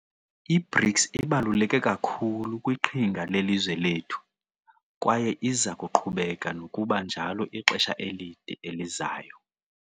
I-BRICS ibaluleke kakhulu kwiqhinga lelizwe lethu, kwaye iza kuqhubeka nokuba njalo ixesha elide elizayo.